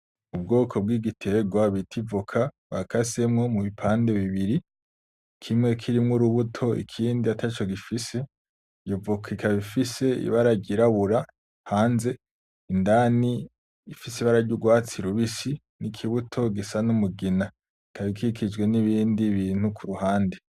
Ubwoko bw'igiterwa bita ivoka, bakasemwo mubipande bibiri, kimwe kirimwo urubuto ikindi ataco gifise, iyo voka ikaba ifise ibara ryirabura hanze, indani ifise ibara ry'urwatsi rubisi n'ikibuto gisa n'umugina, ikaba ikikijwe n'ibindi bintu kuruhande.